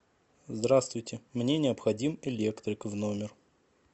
здравствуйте мне необходим электрик в номер